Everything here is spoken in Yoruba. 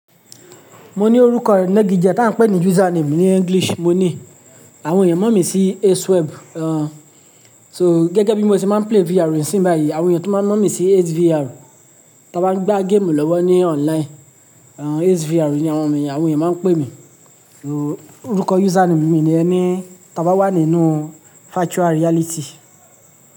Mo ní orúkọ inagije, tá ń pè ní username ní English mo ní, àwọn ènìyàn mọ̀ mí sí Aceweb. So gẹ́gẹ́ bí mo ṣe máa ń play VR nísìn báyìí, àwọn ènìyàn tun máa ń mọ̀ mí sí Ace VR. Tí a bá ń gbá game lọ́wọ́ ní online, Ace VR ni àwọn ènìyàn, àwọn ènìyàn máa ń pè mí. Orúkọ username mi niyẹn ní tí a bá wà nínú virtual reality.